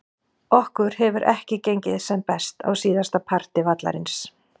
Okkur hefur ekki gengið sem best á síðasta parti vallarins.